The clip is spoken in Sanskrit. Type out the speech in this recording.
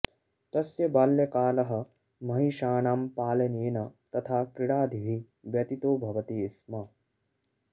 तस्य बाल्यकालः महिषाणां पालनेन तथा क्रीडादिभिः व्यतितोः भवति स्म